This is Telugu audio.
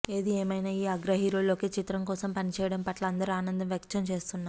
ఏది ఏమయినా ఈ అగ్ర హీరోలు ఒకే చిత్రం కోసం పనిచేయడం పట్ల అందరు ఆనందం వ్యక్తం చేస్తున్నారు